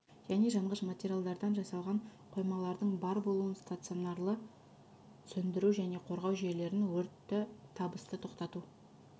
және жанғыш материалдардан жасалған қоймалардың бар болуын стационарлы сөндіру және қорғау жүйелерін өртті табысты тоқтату